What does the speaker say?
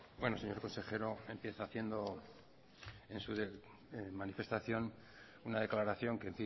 bueno señor consejero empieza haciendo en su manifestación una declaración que